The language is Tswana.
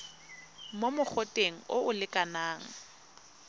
mo mogoteng o o lekanang